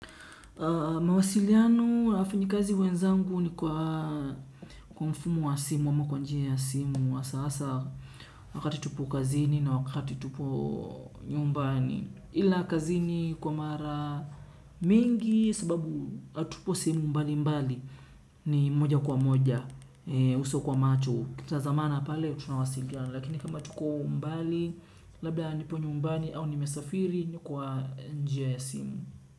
Mawasiliano ya wafanya kazi wenzangu ni kwa mfumo wa simu ama kwa njia ya simu hasa hasa wakati tupo kazini na wakati tupo nyumbani. Ila kazini kwa mara mingi sababu atupo sehemu mbali mbali ni moja kwa moja. Uso kwa macho tukita zamana pale tunawasiliana. Lakini kama tuko mbali labda nipo nyumbani au nimesafiri ni kwa njia ya simu.